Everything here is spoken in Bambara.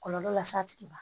Kɔlɔlɔ las'a tigi ma